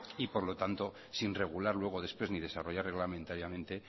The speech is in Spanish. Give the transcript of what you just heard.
y por lo tanto sin regular luego después ni desarrollar reglamentariamente